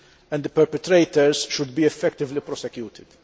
and the perpetrators should be effectively prosecuted.